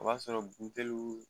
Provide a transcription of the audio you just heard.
O b'a sɔrɔ buteliw